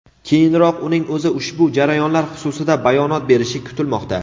Keyinroq uning o‘zi ushbu jarayonlar xususida bayonot berishi kutilmoqda.